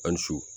An su